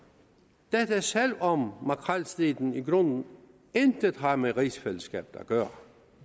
dette er tilfældet selv om makrelstriden i grunden intet har med rigsfællesskabet at gøre